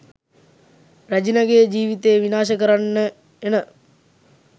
රැජිණගෙ ජීවිතේ විනාශ කරන්න එන.